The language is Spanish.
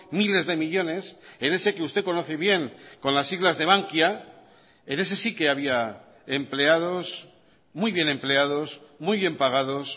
miles de millónes en ese que usted conoce bien con las siglas de bankia en ese sí que había empleados muy bien empleados muy bien pagados